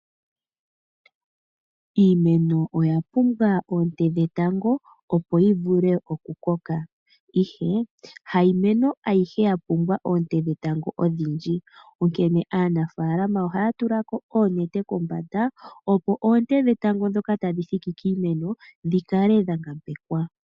Iimeno oya pumbwa oonte dhetango opo yivule oku koka, ihe hayi meno ayihe ya pumbwa oonte dhetango ondhindji, nkene aana faalama ohaya tulako oonete opo oonte ndhetango ndhoka tandhoka tandhi thiki kiimeno ndhikale ndha ngambekwa.